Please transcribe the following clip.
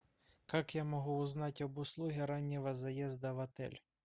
как я могу узнать об услуге раннего заезда в отель